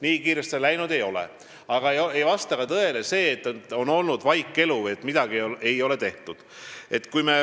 Nii kiiresti see läinud ei ole, aga ei vasta tõele ka see, nagu oleks olnud vaikelu või nagu midagi ei oleks tehtud.